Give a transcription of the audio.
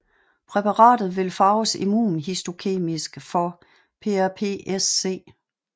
Præparatet vil farves immunhistokemisk for PrPSc